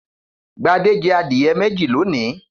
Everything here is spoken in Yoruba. Gbadé jẹ adìẹ méjì lónìí.